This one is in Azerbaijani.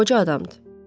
Qoca adamdır.